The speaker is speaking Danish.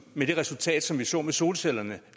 med det resultat som vi så med solcellerne